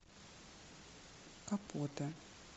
капота